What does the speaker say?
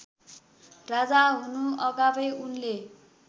राजा हुनुअगावै उनले